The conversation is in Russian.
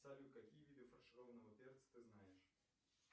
салют какие виды фаршированного перца ты знаешь